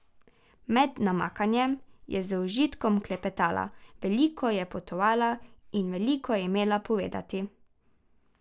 Med namakanjem je z užitkom klepetala, veliko je potovala, in veliko je imela povedati.